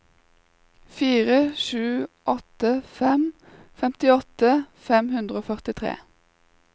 fire sju åtte fem femtiåtte fem hundre og førtitre